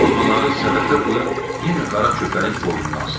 Almaları səbətə qoyub yenə qara köpəyin boynuna asdı.